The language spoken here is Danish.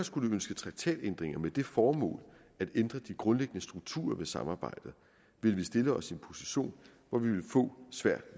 skulle ønske traktatændringer med det formål at ændre de grundlæggende strukturer i samarbejdet ville vi stille os i en position hvor vi ville få svært